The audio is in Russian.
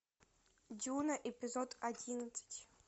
дюна эпизод одиннадцать